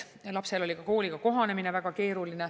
Lapsel oli kooliga kohanemine väga keeruline.